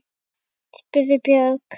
spurði Björg.